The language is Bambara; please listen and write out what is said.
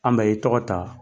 An bɛ i tɔgɔ ta.